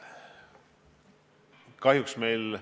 Aitäh!